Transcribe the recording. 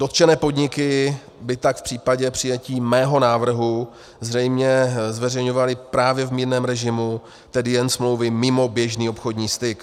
Dotčené podniky by tak v případě přijetí mého návrhu zřejmě zveřejňovaly právě v mírném režimu, tedy jen smlouvy mimo běžný obchodní styk.